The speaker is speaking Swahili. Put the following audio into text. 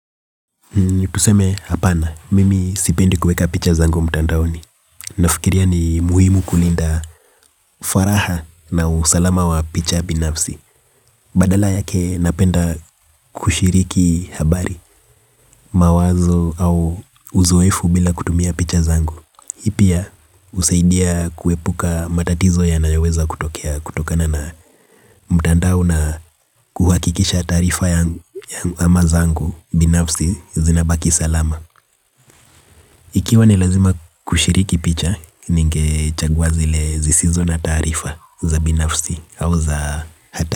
Tuseme hapana, mimi sipendi kueka picha zangu mtandaoni. Nafikiria ni muhimu kulinda faraha na usalama wa picha binafsi. Badala yake napenda kushiriki habari, mawazo au uzoefu bila kutumia picha zangu. Pia husaidia kuepuka matatizo yanayo weza kutokea kutokana na mtandao na kuhakikisha taarifa yangu ama zangu binafsi zinabaki salama. Ikiwa nilazima kushiriki picha ninge chagua zile zisizo na taarifa za binafsi au za hatari.